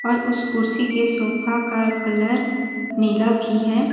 और उस कुर्सी के सोफा का कलर नीला भी हैं ।